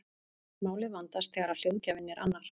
Málið vandast þegar hljóðgjafinn er annar.